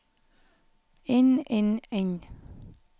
inn inn inn